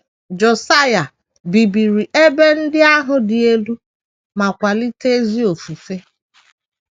Josaịa bibiri ebe ndị ahụ dị elu ma kwalite ezi ofufe